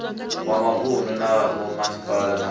wa mavunu na vhomasipala na